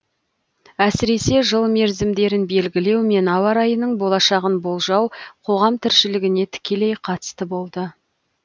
әсіресе жыл мерзімдерін белгілеу мен ауа райының болашағын болжау қоғам тіршілігіне тікелей қатысты болды